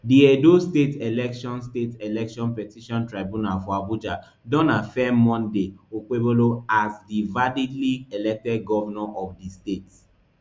di edo state election state election petition tribunal for abuja don affirm monday okpebholo as di validly elected govnor of di state